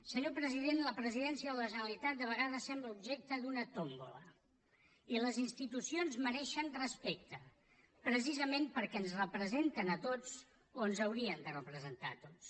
senyor president la presidència de la generalitat de vegades sembla objecte d’una tómbola i les institucions mereixen respecte precisament perquè ens representen a tots o ens haurien de representar a tots